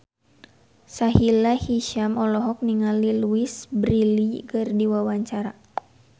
Sahila Hisyam olohok ningali Louise Brealey keur diwawancara